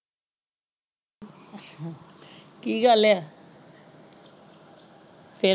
ਕੀ ਗੱਲ ਹੈ ਫੇਰ।